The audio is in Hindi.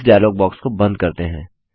इस डायलॉग बॉक्स को बंद करते हैं